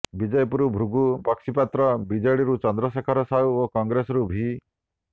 ବିଜେପିରୁ ଭୃଗୁ ବକ୍ସିପାତ୍ର ବିଜେଡିରୁ ଚନ୍ଦ୍ରଶେଖର ସାହୁ ଓ କଂଗ୍ରେସରୁ ଭି